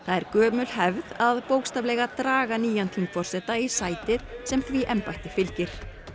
er gömul hefð að bókstaflega draga nýjan þingforseta í sætið sem því embætti fylgir